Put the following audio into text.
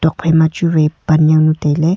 phaima chu wai pan jawnu tailey.